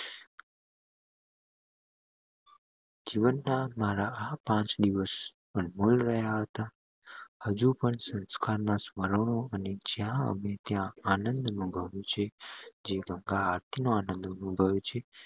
જીવન નાં મારા આ પાંચ દિવસ અનમોલ રહ્યા હતા હજુ પણ સંસ્કાર માં સ્મરણો અને જ્યાં આવે ત્યાં આનંદ અનુભવ્યો છે જે એટલો અનુભવ્યો છે